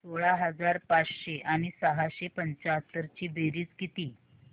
सोळा हजार पाचशे आणि सहाशे पंच्याहत्तर ची बेरीज किती